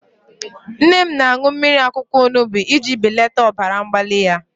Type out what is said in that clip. Nne m na-aṅụ mmiri akwụkwọ onubu iji belata ọbara mgbali ya.